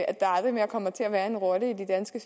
at der aldrig mere kommer til at være en rotte i de danske